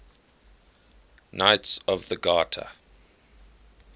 knights of the garter